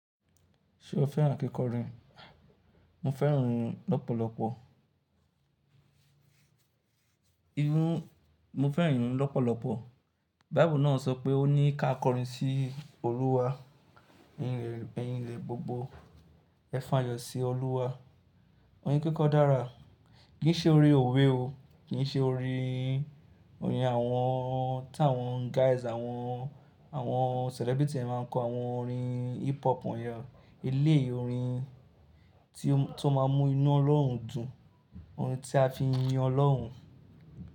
Ṣé o fẹ́ràn kíkọrin? Mo fẹ́ràn iyun lọ́pọ̀lọpọ̀. Iyun Mo fẹ́ràn ìyún lọ́pọ̀lọpọ̀. Bíbú náà sọ pé ó ní ká kọrin sí Olúwa ní rere bẹ̀yìn ilẹ̀ gbogbo. Ẹ f'ayo sí Olúwa. Orin kíkọ dára. Kì í ṣe orin òwe o. Kì n ṣe orin, orin àwọn tí àwọn guys, àwọn, àwọn celebrity máa ń kọ àwọn orin hip hop wọ̀nyẹn. Eléyii orin tí ó m-- to máa mú inú Ọlọ́run dùn. Orin tí a fi ń yin Ọlọ́hun.